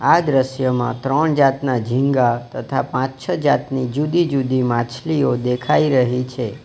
આ દ્રશ્યમાં ત્રણ જાતના ઝીગા તથા પાંચ છ જાતની જુદી જુદી માછલીઓ દેખાય રહી છે.